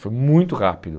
Foi muito rápido.